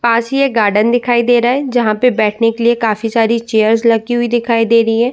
पास एक गार्डन दिखाई दे रहा हैं। जहां पर बैठने के लिए काफी सारे चेयरस लगी हुई दिखाई दे रही हैं।